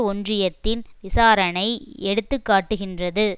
ஒன்றியத்தின் விசாரணை எடுத்து காட்டுகின்றது